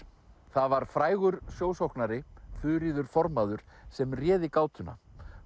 það var frægur sjósóknari Þuríður formaður sem réði